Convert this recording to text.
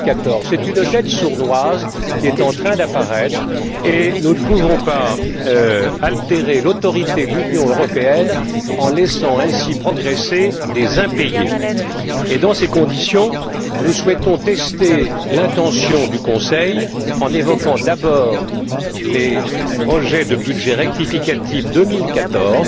2014. C'est une dette sournoise qui est en train d'apparaître et nous ne pouvons pas altérer l'autorité de l'Union européenne en laissant ainsi progresser des impayés. Dans ces conditions, nous souhaitons tester l'intention du Conseil en évoquant d'abord les projets de budget rectificatif 2014,